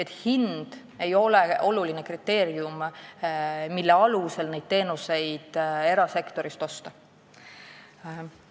Hind ei ole oluline kriteerium, mille alusel neid teenuseid erasektorist osta.